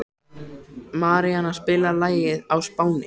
Maríanna, spilaðu lagið „Á Spáni“.